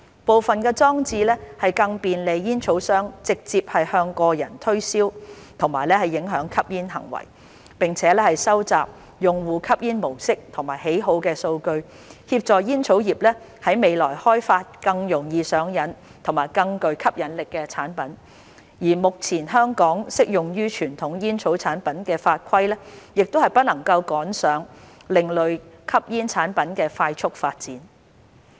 部分裝置更便利煙草商直接向個人推銷和影響吸煙行為，並且收集用戶吸煙模式和喜好的數據，協助煙草業於未來開發更容易上癮和更具吸引力的產品，而目前香港適用於傳統煙草產品的法規不能趕上另類吸煙產品的快速發展。